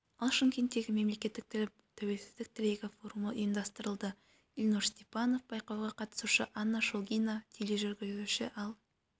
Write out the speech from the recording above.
ал шымкентте мемлекеттік тіл тәуелсіздік тірегі форумы ұйымдастырылды ильнур степанов байқауға қатысушы анна шолгина тележүргізуші ал